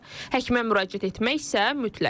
Həkimə müraciət etmək isə mütləqdir.